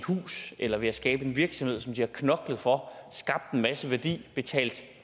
hus eller ved at skabe en virksomhed som de har knoklet for skabt en masse værdi i og betalt